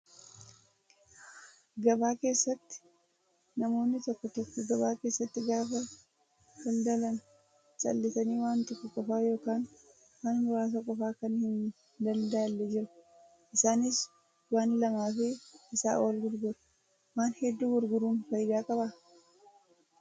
Gabaa keessatti namoonni tokko tokko gabaa keessatti gaafa daldalan callisanii waan tokko qofaa yookaan waan muraasa qofaa kan hin daldaalle jiru. Isaanis waan lamaa fi isaa ol gurguru. Waan hedduu gurguruun fayidaa qabaa?